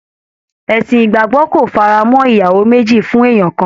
Ẹ̀sìn ìgbàgbọ́ kò fara mọ́ ìyàwó méjì fún èèyàn kan